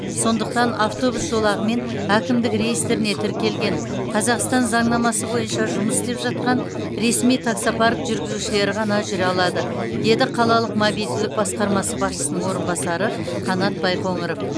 сондықтан автобус жолағымен әкімдік реестріне тіркелген қазақстан заңнамасы бойынша жұмыс істеп жатқан ресми таксопарк жүргізушілері ғана жүре алады деді қалалық мобильділік басқармасы басшысының орынбасары қанат байқоңыров